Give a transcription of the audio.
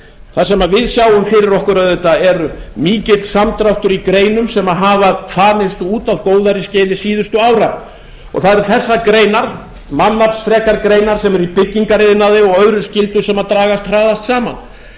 það sem við sjáum fyrir okkur auðvitað er mikill samdráttur í greinum sem hafa þanist út á góðærisskeiði síðustu ára og það eru þessar greinar mannaflsfrekar greinar sem eru í byggingariðnaði og öðru skyldum sem dragast hraðast saman